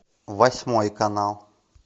восьмой канал